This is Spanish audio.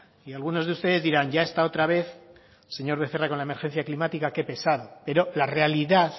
y algunos de ustedes dirán ya está otra vez el señor becerra con la emergencia climática qué pesado pero la realidad